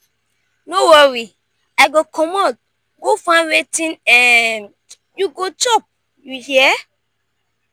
no worry i go comot go find wetin um you go chop you hear?